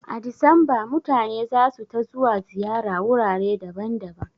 A Disamba mutane zasu ta zuwa ziyara wurare daban daban